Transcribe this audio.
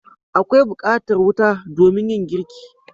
Akwai bukatar wuta domin yin girki.